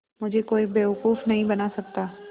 मुझे कोई बेवकूफ़ नहीं बना सकता